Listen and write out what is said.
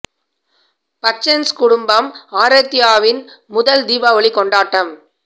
பச்சன்ஸ் குடும்பம் ஆரத்யாவின் முதல் தீபாவளி கொண்டாட்டம்